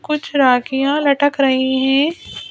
कुछ राखियां लटक रही हैं।